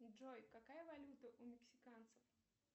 джой какая валюта у мексиканцев